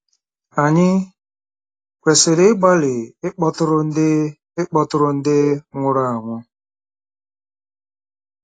Ànyị kwesịrị ịgbalị ịkpọtụrụ ndị ịkpọtụrụ ndị nwụrụ anwụ?